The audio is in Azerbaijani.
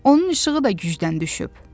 Onun işığı da gücdən düşüb.